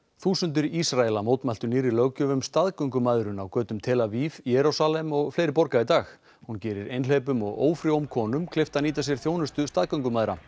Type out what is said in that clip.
þúsundir Ísraela mótmæltu nýrri löggjöf um staðgöngumæðrun á götum tel Aviv Jerúsalem og fleiri borga í dag hún gerir einhleypum og ófrjóum konum kleift að nýta sér þjónustu staðgöngumæðra